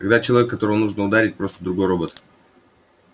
когда человек которого нужно ударить просто другой робот